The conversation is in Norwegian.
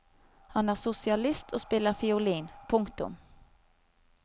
Han er sosialist og spiller fiolin. punktum